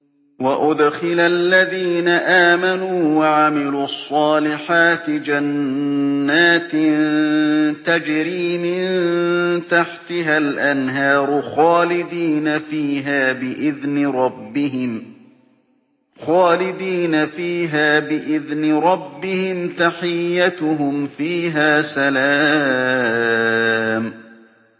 وَأُدْخِلَ الَّذِينَ آمَنُوا وَعَمِلُوا الصَّالِحَاتِ جَنَّاتٍ تَجْرِي مِن تَحْتِهَا الْأَنْهَارُ خَالِدِينَ فِيهَا بِإِذْنِ رَبِّهِمْ ۖ تَحِيَّتُهُمْ فِيهَا سَلَامٌ